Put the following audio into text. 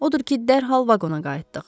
Odur ki, dərhal vaqona qayıtdıq.